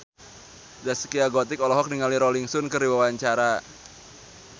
Zaskia Gotik olohok ningali Rolling Stone keur diwawancara